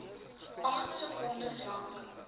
agt sekondes lank